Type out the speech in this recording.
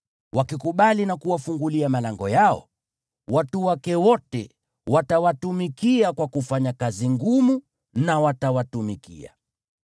Wakikubali na kuwafungulia malango yao, watu wake wote watawatumikia kwa kufanya kazi ngumu na watawatumikia.